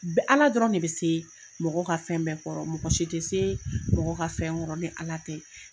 Ala dɔrɔn ne bɛ se mɔgɔ ka fɛn bɛɛ kɔrɔ, mɔgɔ si tɛ se mɔgɔ ka fɛn kɔrɔ ni Ala tɛ.